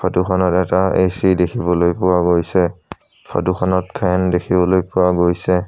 ফটোখনত এটা এ_চি দেখিবলৈ পোৱা গৈছে ফটোখনত ফেন দেখিবলৈ পোৱা গৈছে।